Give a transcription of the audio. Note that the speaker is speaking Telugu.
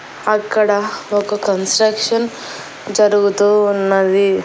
అక్కడ ఒక కన్స్ట్రక్షన్ జరుగుతూ ఉన్నది.